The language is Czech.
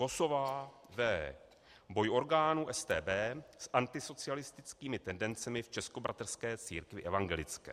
KOSOVÁ, V.: Boj orgánů StB s antisocialistickými tendencemi v Českobratrské církvi evangelické.